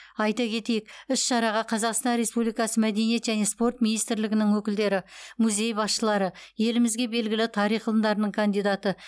айта кетейік іс шараға қазақстан республикасы мәдениет және спорт министрлігінің өкілдері музей басшылары елімізге белгілі тарих ғылымдарының кандидаты